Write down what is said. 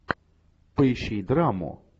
поищи драму